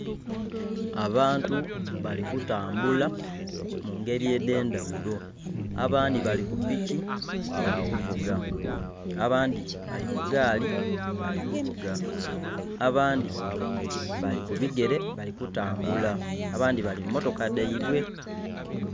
Abantu bali kutambula mungeri edendhagulo abandhi bali ku piki bali kuvuga, abandhi bali ku gaali bali kuvuga, abandhi bali ku bigere bali kutambula, abandhi bali mu motoka dhaibwe.